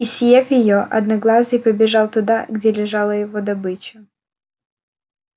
и съев её одноглазый побежал туда где лежала его добыча